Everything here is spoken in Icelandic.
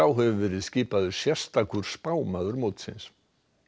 hefur verið skipaður sérstakur spámaður mótsins